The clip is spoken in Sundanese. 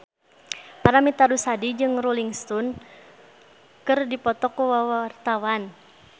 Paramitha Rusady jeung Rolling Stone keur dipoto ku wartawan